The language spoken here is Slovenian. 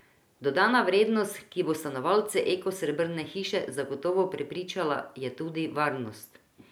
Dodana vrednost, ki bo stanovalce Eko srebrne hiše zagotovo prepričala, je tudi varnost.